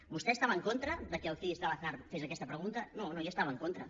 vostè estava en contra que el cis de l’aznar fes aquesta pregunta no no hi estava en contra